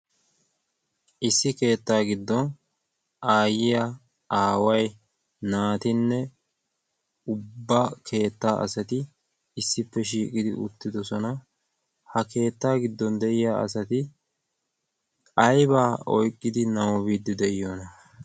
issi keettaa giddon aayyiya aawai naatinne ubba keettaa asati issippe shiiqidi uttidosona. ha keettaa giddon de'iya asati a'baa oyqqidi naagidi de'iyoona?